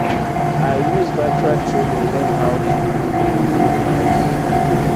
i use virtual training learn how to build greenhouse